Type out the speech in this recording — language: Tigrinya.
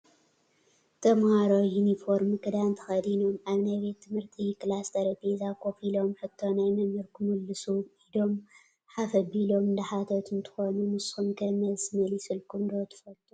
ተማሃሮ ዩኒፎርሚ ክዳን ተከዲኖም ኣብ ናይ ቤት ትምህርቲ ክላስ ጠረጴዛ ኮፍ ኢሎም ሕቶ ናይ መምህር ክምሉሱ ኢዶም ሓፍ ኣቢሎም እንዳሓተቱ እንትኮኑ፣ ንስኩም'ከ መልሲ መሊስኩም ዶ ትፈልጡ?